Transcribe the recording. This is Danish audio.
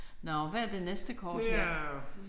Nåh hvad er det næste kort her?